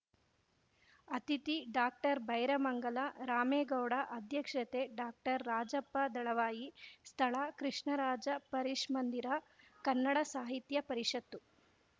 ಅತಿಥಿ ಡಾಕ್ಟರ್ಬೈರಮಂಗಲ ರಾಮೇಗೌಡ ಅಧ್ಯಕ್ಷತೆ ಡಾಕ್ಟರ್ರಾಜಪ್ಪ ದಳವಾಯಿ ಸ್ಥಳ ಕೃಷ್ಣರಾಜ ಪರಿಷನ್ಮಂದಿರ ಕನ್ನಡ ಸಾಹಿತ್ಯ ಪರಿಷತ್ತು